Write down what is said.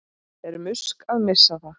Er Musk að missa það?